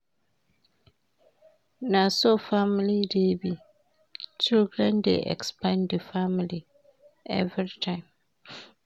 Na so family dey be, children dey expand di family everytime.